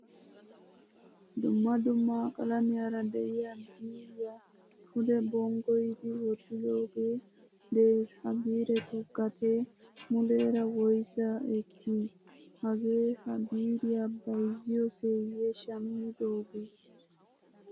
Dumma dumma qalamiyaara de'iyaa biiriyaa pude bonggoyidi wottidoge de'ees. Ha biirettu gatee mulera woysa ekki? Hagee ha biiriyaa bayzziyoseye shammidoge?